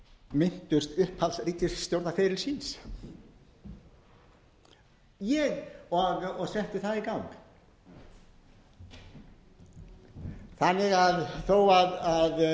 minntust upphafs ríkisstjórnarferils síns og settu það í gang þó að ýmislegt megi að þessari ríkisstjórn finna